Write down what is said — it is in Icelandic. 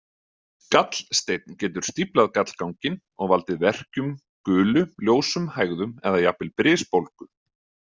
Gallsteinn getur stíflað gallganginn og valdið verkjum, gulu, ljósum hægðum eða jafnvel brisbólgu.